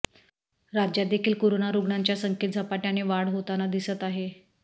राज्यात देखील कोरोना रुग्णांच्या संख्येत झपाट्याने वाढ होताना दिसत आहे